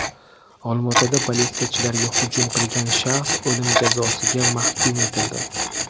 Olmaotada politsiyachilarga hujum qilgan shaxs o‘lim jazosiga mahkum etildi.